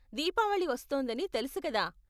దీపావళి వస్తోందని తెలుసు కదా!